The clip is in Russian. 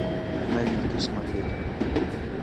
новинки смотреть